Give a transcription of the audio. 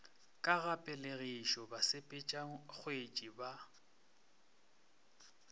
ka ga pelegišo basepetšakgetsi ba